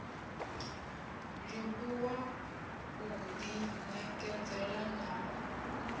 livhuwa u ḓi ṋekedzela na